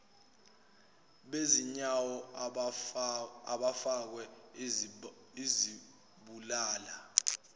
bezinyawo abafakwe izibulala